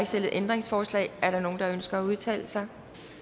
stillet ændringsforslag er der nogen der ønsker at udtale sig